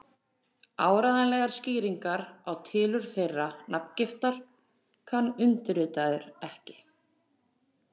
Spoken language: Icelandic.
Áreiðanlegar skýringar á tilurð þeirrar nafngiftar kann undirritaður ekki.